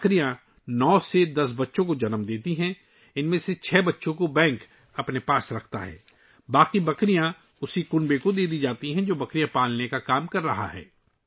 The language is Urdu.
بکریاں 2 سال میں 9 سے 10 بچوں کو جنم دیتی ہیں، جن میں سے 6 بچے بینک اپنے پاس رکھتا ہے ، باقی بچے اسی خاندان کو دے دیتا ہے ، جو بکریاں پالتے ہیں